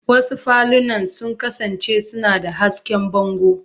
Wasu falunan sun kasance suna da hasken bango.